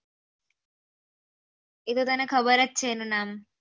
એતો તને ખબર જ એનો નામ